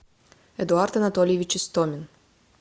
эдуард анатольевич истомин